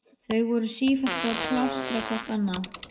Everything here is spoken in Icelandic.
Þau voru sífellt að plástra hvort annað.